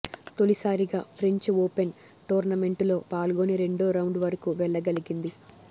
తొలిసారిగా French Open టోర్నమెంటులో పాల్గొని రెండో రౌండ్ వరకు వెళ్ళగలిగింది